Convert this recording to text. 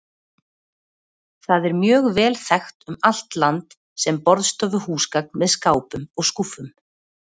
Það er mjög vel þekkt um allt land sem borðstofuhúsgagn með skápum og skúffum.